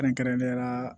Kɛrɛnkɛrɛnnenya la